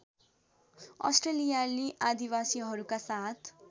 अस्ट्रेलियाली आदिवासीहरूका साथ